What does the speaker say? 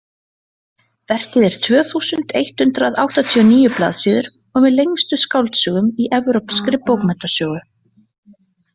Verkið er tvö þúsund eitt hundruð áttatíu og níu blaðsíður og með lengstu skáldsögum í evrópskri bókmenntasögu.